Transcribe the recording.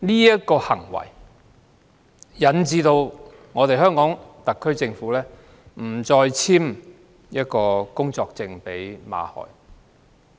這個行為引致馬凱不獲特區政府續發工作簽證。